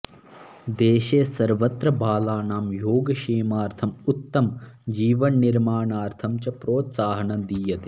देशे सर्वत्र बालानां योगक्षेमार्थम् उत्तमजीवननिर्माणार्थं च प्रोत्साहनं दीयते